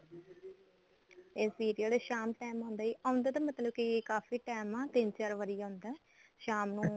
ਇਹ serial ਸ਼ਾਮ time ਆਉਂਦਾਂ ਜੀ ਆਉਂਦਾ ਤਾਂ ਮਤਲਬ ਕਿ ਕਾਫੀ time ਐ ਤਿੰਨ ਚਾਰ ਵਾਰੀ ਆਉਂਦਾ ਸ਼ਾਮ ਨੂੰ